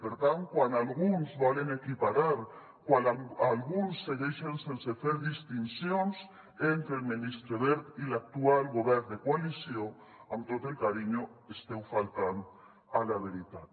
per tant quan alguns volen equiparar quan alguns segueixen sense fer distincions entre el ministre wert i l’actual govern de coalició amb tot el carinyo esteu faltant a la veritat